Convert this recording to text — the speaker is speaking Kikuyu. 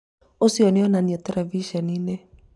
ũcio nĩonanio terebiceninĩ